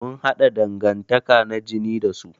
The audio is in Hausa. Mun haɗa dangantaka na jini da su.